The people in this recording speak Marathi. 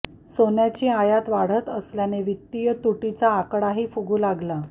सोन्याची आयात वाढत असल्याने वित्तीय तुटीचा आकडाही फुगू लागला